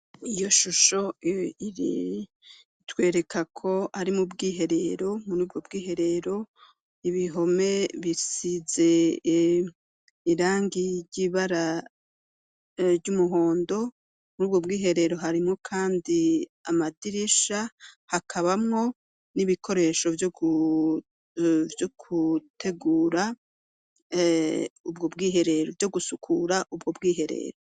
Iyo shusho iriri itwereka ko ari mu bwiherero mur ubwo bw'iherero ibihome bisize irangi ry'ibara ry'umuhondo muri ubwo bw'iherero harimwo, kandi amadirisha hakabamwo n'ibikoresho hvyo gutegura ubwo bwiherero vyo gusukura ubwo bwiherero.